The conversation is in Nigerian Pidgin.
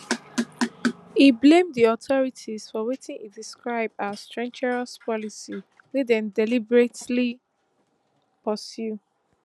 e blame di authorities for wetin e describe as treacherous policy wey dem deliberately pursue